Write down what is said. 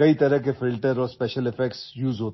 चित्रपटात अनेक प्रकारचे फिल्टर आणि स्पेशल इफेक्ट्स यांचा